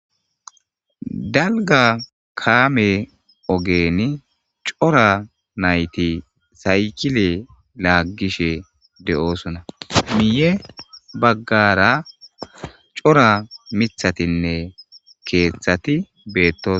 dalga kaame ogen cora nayti saykile laaggishe de7osuna miye baggara cora mithatinne keeththati beettosona